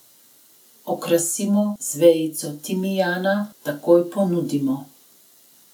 Okrasimo z vejico timijana, takoj ponudimo.